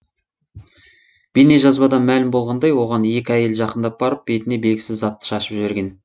бейнежазбадан мәлім болғандай оған екі әйел жақындап барып бетіне белгісіз затты шашып жіберген